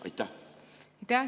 Aitäh!